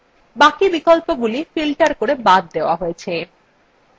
বাকি বিকল্পগুলি filtered করে বাদ দেওয়া হয়েছে